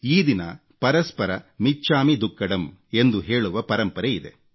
ಈ ದಿನ ಪರಸ್ಪರ ಮಿಚ್ಛಾಮಿ ದುಕ್ಕಡಮ್ ಎಂದು ಹೇಳುವ ಪರಂಪರೆಯಿದೆ